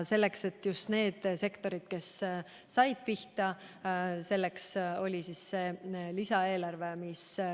Just nendele sektoritele, kes said pihta, oli see lisaeelarve suunatud.